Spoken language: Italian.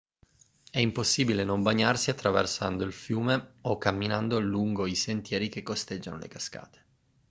è impossibile non bagnarsi attraversando il fiume o camminando lungo i sentieri che costeggiano le cascate